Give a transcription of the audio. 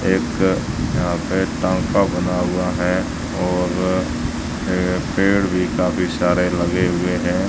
एक यहां पे टांका बना हुआ है और ये पेड़ भी काफी सारे लगे हुए हैं।